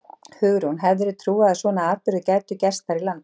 Hugrún: Hefðirðu trúað að svona atburðir gætu gerst þar í landi?